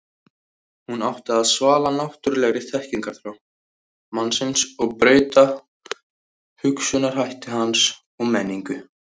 hún átti að svala náttúrulegri þekkingarþrá mannsins og breyta hugsunarhætti hans og menningu